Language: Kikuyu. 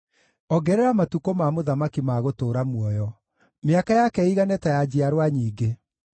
Ongerera matukũ ma mũthamaki ma gũtũũra muoyo, mĩaka yake ĩigane ta ya njiarwa nyingĩ.